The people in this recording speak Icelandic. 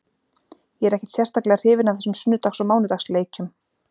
Ég er ekkert sérstaklega hrifinn af þessum sunnudags og mánudags leikjum.